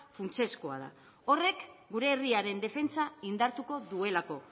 funtsezkoa da horrek gure herriaren defentsa indartuko duelako